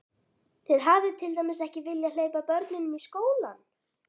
Þið hafið til dæmis ekki viljað hleypa börnunum í skólann?